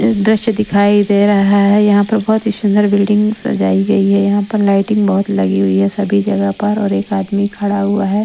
दृश्य दिखाई दे रहा है यहाँ पर बहुत ही सुंदर बिल्डिंग सजाई गई है यहाँ पर लाइटिंग बहुत लगी हुई है सभी जगह पर और एक आदमी खड़ा हुआ है।